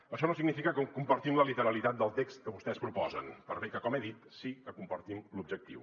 això no significa que compartim la literalitat del text que vostès proposen per bé que com he dit sí que en compartim l’objectiu